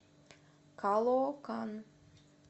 калоокан